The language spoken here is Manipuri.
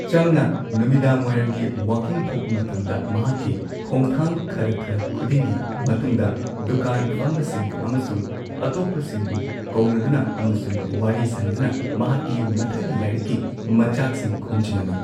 ꯆꯝꯅ ꯅꯨꯃꯤꯗꯥꯡꯋꯥꯢꯔꯝꯒꯤ ꯋꯥꯀꯤꯡ ꯊꯣꯛꯄ ꯃꯇꯝꯗ, ꯃꯍꯥꯛꯀꯤ ꯈꯣꯡꯊꯥꯡ ꯈꯔ ꯈꯔ ꯈꯨꯗꯤꯡꯒꯤ ꯃꯇꯨꯡꯗ ꯗꯨꯀꯥꯟ ꯐꯝꯕꯁꯤꯡ ꯑꯃꯁꯨꯡ ꯑꯇꯣꯞꯄꯁꯤꯡꯕꯨ ꯀꯧꯅꯗꯨꯅ ꯑꯃꯁꯨꯡ ꯋꯥꯔꯤ ꯁꯥꯅꯗꯨꯅ ꯃꯍꯥꯛꯀꯤ ꯃꯊꯪꯒꯤ ꯂꯥꯏꯔꯤꯛꯀꯤ ꯃꯆꯥꯛꯁꯤꯡ ꯈꯣꯝꯖꯤꯜꯂꯝꯃꯤ꯫